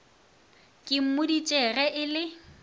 ke mmoditše ge e le